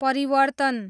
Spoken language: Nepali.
परिवर्तन